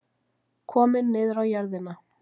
Kominn niður á jörðina.